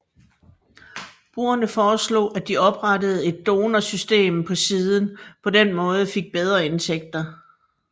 Brugerne foreslog at de oprettede et donor system så siden på den måde fik bedre indtægter